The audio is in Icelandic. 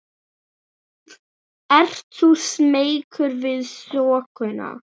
Ert þú smeykur við þokuna?